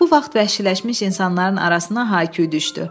Bu vaxt vəhşiləşmiş insanların arasına hay-küy düşdü.